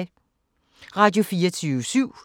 Radio24syv